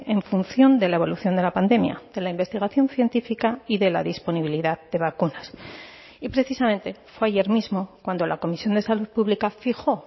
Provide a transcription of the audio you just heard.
en función de la evolución de la pandemia de la investigación científica y de la disponibilidad de vacunas y precisamente fue ayer mismo cuando la comisión de salud pública fijó